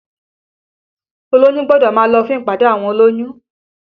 Olóyún gbọ́dọ̀ máa lọ fún ìpàdé àwọn olóyún